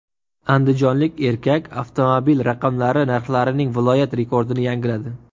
Andijonlik erkak avtomobil raqamlari narxlarining viloyat rekordini yangiladi.